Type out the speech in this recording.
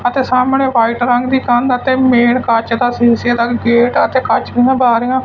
ਅਤੇ ਸਾਹਮਣੇ ਵਾਈਟ ਰੰਗ ਦੀ ਕੰਧ ਅਤੇ ਮੇਨ ਕੱਚ ਦਾ ਸ਼ੀਸ਼ੇ ਦਾ ਗੇਟ ਅਤੇ ਕੱਚ ਦੀਆਂ ਬਾਰੀਆਂ--